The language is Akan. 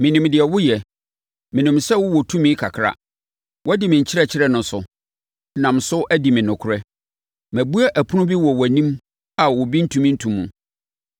Menim deɛ woyɛ. Menim sɛ wowɔ tumi kakra. Woadi me nkyerɛkyerɛ no so, nam so adi me nokorɛ. Mabue ɛpono bi wɔ wʼanim a obi ntumi nto mu.